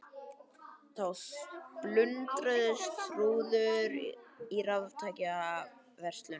Þá splundruðust rúður í raftækjaverslun